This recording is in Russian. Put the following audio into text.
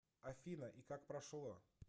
афина и как прошло